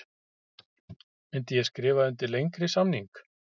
Myndi ég skrifa undir lengri samning?